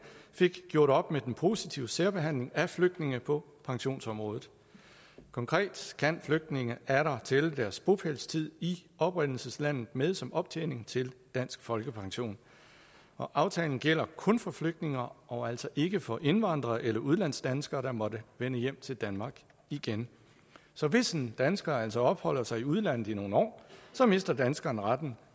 fik gjort op med den positive særbehandling af flygtninge på pensionsområdet konkret kan flygtninge atter tælle deres bopælstid i oprindelseslandet med som optjening til dansk folkepension og aftalen gælder kun for flygtninge og og altså ikke for indvandrere eller udlandsdanskere der måtte vende hjem til danmark igen så hvis en dansker altså opholder sig i udlandet i nogle år mister danskeren retten